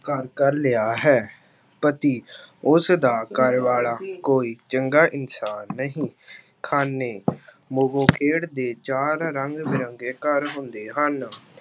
ਘਰ ਕਰ ਲਿਆ ਹੈ, ਪਤੀ ਉਸਦਾ ਘਰ ਵਾਲਾ ਕੋਈ ਚੰਗਾ ਇਨਸਾਨ ਨਹੀਂ ਖਾਨੇ ਉਹ ਖੇਡ ਦੇ ਚਾਰ ਰੰਗ ਬਿਰੰਗੇ ਘਰ ਹੁੰਦੇ ਹਨ।